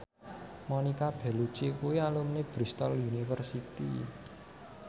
Monica Belluci kuwi alumni Bristol university